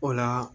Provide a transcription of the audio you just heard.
O la